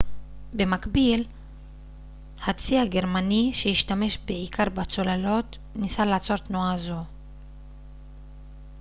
במקביל הצי הגרמני שהשתמש בעיקר בצוללות ניסה לעצור תנועה זו